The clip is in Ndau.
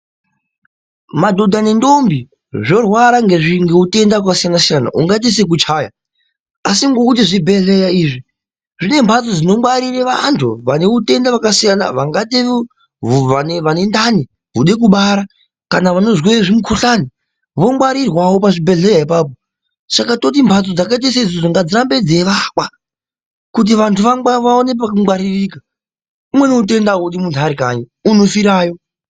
Madhodha nendombi zvorwara ngeutenda hwakasiyana-siyana ungaite sekuchaya. Asi ngokuti zvibhehleya izvi zvine mbatso dzinongwarire, vantu vane utenda hwakasiyana. Vangaite vane ndani, vode kubara kana vanozwe zvimukhuhlani vongwarirwawo pazvibhehleya ipapo. Saka toti mhatso dzakaite saidzozdo ngadzirambe dzeivakwa kuti vantu vaone pekungwaririka umweni unotenda audi munthu arikanyi, unofirayo.